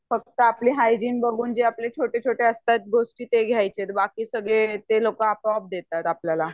फक्त आपले हायजीन बघून जे आपले छोटे छोटे असतात गोष्टी ते घ्यायचे आहे बाकी सगळे ते लोक आपोआप देतात आपल्याला